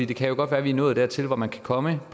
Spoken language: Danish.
det kan jo godt være vi er nået dertil hvor man kan komme